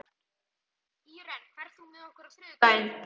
Íren, ferð þú með okkur á þriðjudaginn?